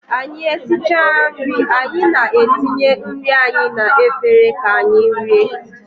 Anyị esichaa nri anyị na-etinye nri anyị na efere ka anyị rie